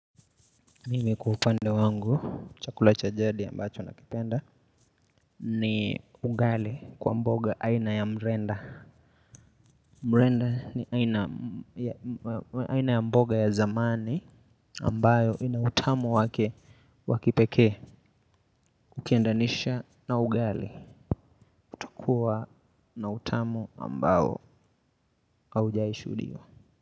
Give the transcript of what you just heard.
Mimi kuhupande wangu chakula cha jadi ambacho nakipenda ni ugali kwa mboga aina ya mrenda. Mrenda ni aina ya mboga ya zamani ambayo inautamo wake wakipeke kukiendanisha na ugali utakuwa na utamo ambao haujai shuhudia.